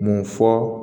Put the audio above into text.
Mun fɔ